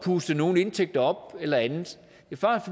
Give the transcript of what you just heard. puste nogle indtægter op eller andet